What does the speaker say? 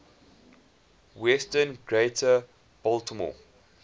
western greater baltimore